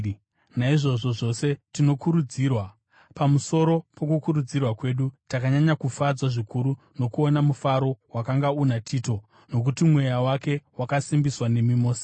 Naizvozvi zvose tinokurudzirwa. Pamusoro pokukurudzirwa kwedu, takanyanya kufadzwa zvikuru nokuona mufaro wakanga una Tito, nokuti mweya wake wakasimbiswa nemi mose.